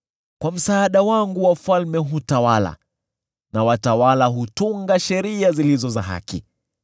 Kwa msaada wangu wafalme hutawala na watawala hutunga sheria zilizo za haki,